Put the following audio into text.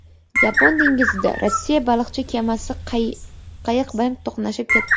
Yapon dengizida Rossiya baliqchi kemasi qayiq bilan to‘qnashib ketdi.